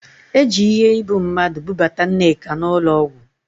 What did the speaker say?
Eji iheibummadụ bubata Nneka n'ụlọ ọgwụ